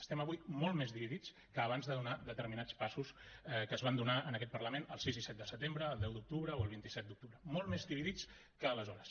estem avui molt més dividits que abans de donar determinats passos que es van donar en aquest parlament el sis i set de setembre el deu d’octubre o el vint set d’octubre molt més dividits que aleshores